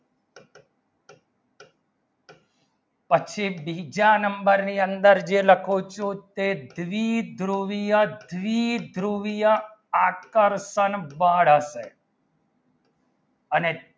પછી બીજા number ની અંદર ને જે લખો છો તે દીદૃવિય દીદૃવિય આકર્ષણ બળ હશે અને